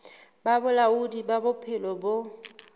ba bolaodi ba bophelo bo